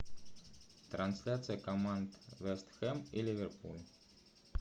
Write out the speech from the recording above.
трансляция команд вест хэм и ливерпуль